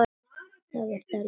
Það varð dálítið þunnt.